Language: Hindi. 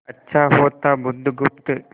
अच्छा होता बुधगुप्त